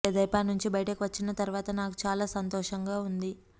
తెదేపా నుంచి బయటకు వచ్చిన తర్వాత నాకు చాలా సంతోషంగా ఉంది